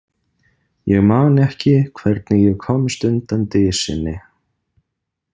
Ég man ekki hvernig ég komst undan dysinni.